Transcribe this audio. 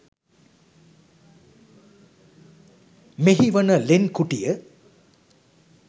මෙහි වන ලෙන් කුටිය